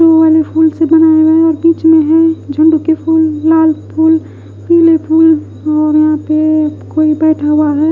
Blue वाले फुल से बनाया हुआ और बीच में है झुंड के फूल लाल फूल पीले फूल और यहां पे कोई बैठा हुआ है।